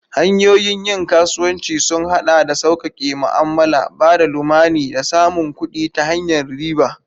Hanyoyin yin kasuwanci sun haɗa da sauƙaƙe ma'amala, ba da lamuni, da samun kuɗi ta hanyar riba.